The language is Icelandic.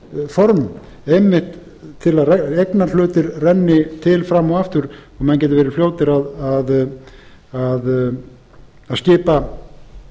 liðugt formaður einmitt til að eignarhlutir renni til fram og aftur og menn geti verið fljótir að skipa